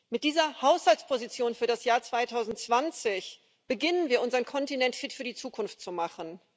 Mit dieser Haushaltsposition für das Jahr 2020 beginnen wir damit, unseren Kontinent fit für die Zukunft zu machen.